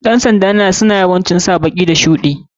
Ƴan sanda suna yawancin sa baki da shuɗi.